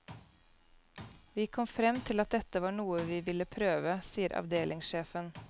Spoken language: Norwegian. Vi kom frem til at dette var noe vi ville prøve, sier avdelingssjefen.